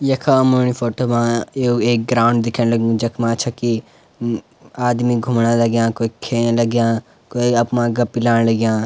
यखा अमणी फोटो मा एक ग्राउंड दिखेंण लग्युं जखमा छकी आदमी घूमणा लग्याँ क्वे खेंन लग्याँ क्वे अप मा गप्पी लाण लग्याँ।